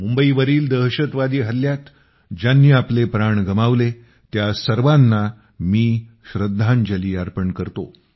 मुंबईवरील दहशतवादी हल्ल्यात ज्यांनी आपले प्राण गमावले त्या सर्वाना मी श्रद्धांजली अर्पण करतो